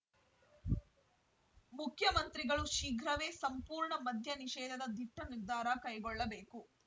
ಮುಖ್ಯಮಂತ್ರಿಗಳು ಶೀಘ್ರವೇ ಸಂಪೂರ್ಣ ಮದ್ಯ ನಿಷೇಧದ ದಿಟ್ಟನಿರ್ಧಾರ ಕೈಗೊಳ್ಳಬೇಕು